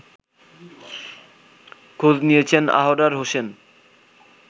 খোঁজ নিয়েছেন আহরার হোসেন